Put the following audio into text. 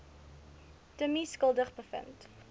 timmie skuldig bevind